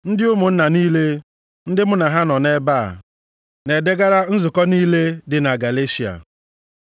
Ndị ụmụnna niile ndị mụ na ha nọ nʼebe a, Na-edegara + 1:2 Maọbụ, na-ekele nzukọ niile dị na Galeshịa.